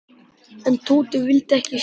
En Tóti vildi ekki sjá.